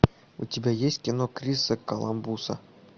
у тебя есть кино криса коламбуса